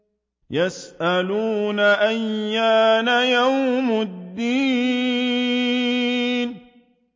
يَسْأَلُونَ أَيَّانَ يَوْمُ الدِّينِ